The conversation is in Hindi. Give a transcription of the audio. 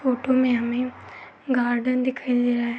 फोटो में हमें गार्डेन दिखाई दे रहा है।